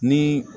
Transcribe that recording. Ni